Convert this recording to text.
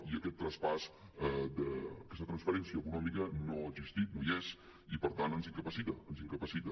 i aquest traspàs aquesta transferència econòmica no ha existit no hi és i per tant ens incapacita ens incapacita